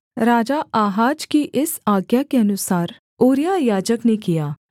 राजा Ahaz की इस आज्ञा के अनुसार ऊरिय्याह याजक ने किया